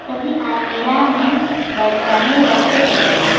सभी अलमीरा में बर्तने रखे गए हैं।